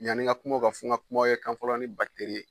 Yann'i n ka kuma o kan fɔ n ka kuma ye kan fɔlɔ ni ye.